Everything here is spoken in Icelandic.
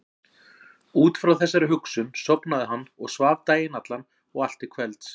Út frá þessari hugsun sofnaði hann og svaf daginn allan og allt til kvelds.